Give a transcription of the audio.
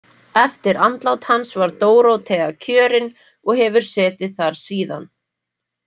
Eftir andlát hans var Dórótea kjörin og hefur setið þar síðan.